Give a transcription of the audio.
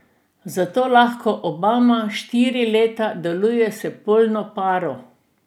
Zato lahko Obama štiri leta deluje s polno paro.